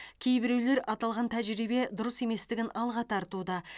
кейбіреулер аталған тәжірибе дұрыс еместігін алға тартуда